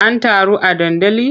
An taru a dandali?